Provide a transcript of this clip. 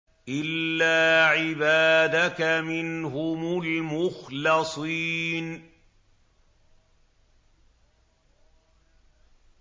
إِلَّا عِبَادَكَ مِنْهُمُ الْمُخْلَصِينَ